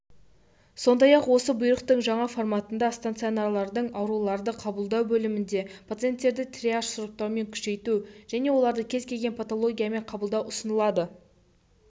сондай ақ осы бұйрықтың жаңа форматында стационарлардың ауруларды қабылдау бөлімінде пациенттердің триаж-сұрыптауын күшейту және оларды кез келген патологиямен қабылдау ұсынылады